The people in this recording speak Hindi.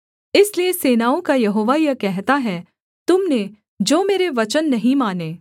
इसलिए सेनाओं का यहोवा यह कहता है तुम ने जो मेरे वचन नहीं माने